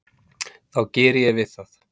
þá geri ég við það.